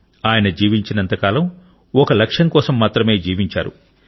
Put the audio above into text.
అతను జీవించినంత కాలం ఒక లక్ష్యం కోసం మాత్రమే జీవించాడు